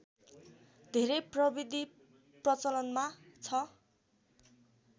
धेरै प्रविधि प्रचलनमा छ